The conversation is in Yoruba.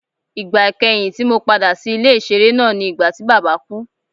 Igba ikẹhin ti Mo pada si ile-iṣere naa ni nigbati baba ku